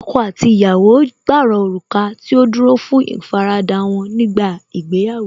Ọkọ àti ìyàwó jìrọ̀ òrùka tí ó dúró fún ìfaradà wọ́n nígbà ìgbéyàwó